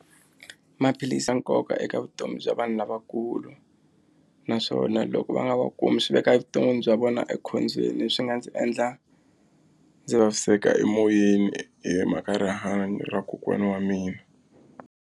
Maphilisi ya nkoka eka vutomi bya vanhu lavakulu naswona loko va nga wa kumi swi veka evuton'wini bya vona ekhombyeni leswi nga ndzi endla ndzi vaviseka emoyeni hi mhaka rihanyo ra kokwana wa mina.